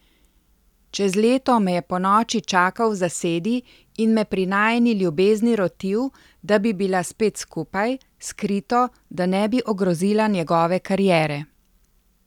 Čez leto me je ponoči čakal v zasedi in me pri najini ljubezni rotil, da bi bila spet skupaj, skrito, da ne bi ogrozila njegove kariere.